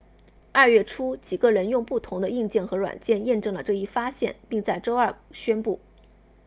二月初几个人用不同的硬件和软件验证了这一发现并在周二宣布